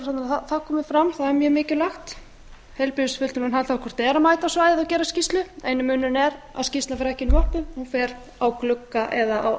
að það komi fram það er mjög mikilvægt heilbrigðisfulltrúinn þarf hvort eð er að mæta á svæðið og gera skýrslu eini munurinn er að skýrslan fer ekki í möppu hún fer á glugga eða á